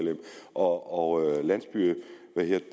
og understøttet landsbyerne